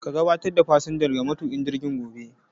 Ka gabatar da fasinjan ga matuƙin jirgin gobe.